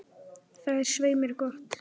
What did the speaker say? Það er svei mér gott.